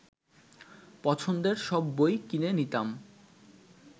পছন্দের সব বই কিনে নিতাম